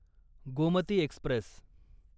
Gomti Express